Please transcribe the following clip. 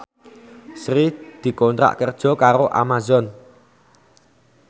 Sri dikontrak kerja karo Amazon